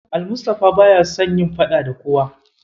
Almustapha baya son yin faɗa da kowa.